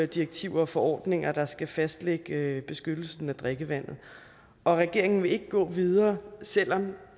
direktiver og forordninger der skal fastlægge beskyttelsen af drikkevandet og at regeringen ikke vil gå videre selv om